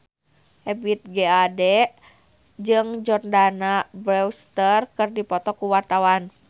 Ebith G. Ade jeung Jordana Brewster keur dipoto ku wartawan